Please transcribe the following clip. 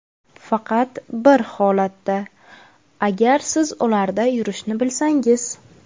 Faqat bir holatda: agar siz ularda yurishni bilsangiz.